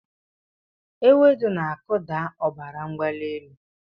Ewedu na-akụdata ọbara mgbali elu.